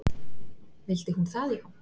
Vildi hún það já?